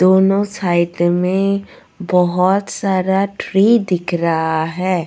दोनों साइड में बहुत सारा ट्री दिख रहा है.